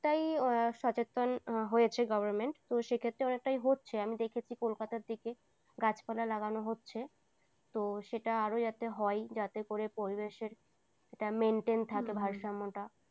তাই সচেতন হয়েছে government তো সেক্ষেত্রে অনেকটাই হচ্ছে আমি দেখেছি কলকাতার দিকে গাছপালা লাগানো হচ্ছে তো সেটা আরও যাতে হয়, যাতে করে পরিবেশের এটা maintain থাকে ভারসাম্যটা